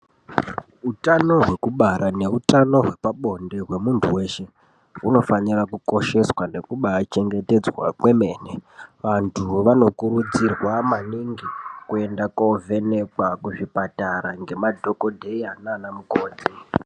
Utano hwekubara nehutano hwepabonde hwemuntu weshe hunofanira kukosheswa nekubachengetedzwa kwemene vantu vanokurudzirwa maningi kuenda kundovhenekwa kuzvipatara nemadhokoteya nana mukoti.